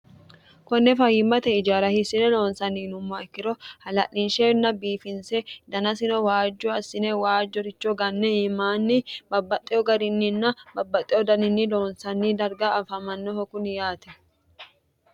konne fayimmate ijaara hissine loonsanni yinummoha ikkiro hala'linsheenna biifinse danasino waajju assine waajjoricho ganne iimaanni babbaxxeo garinninna babbaxxewo daninni loonsanni darga afamannoho kuni yaate.